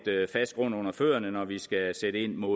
fast grund under fødderne når vi skal sætte ind mod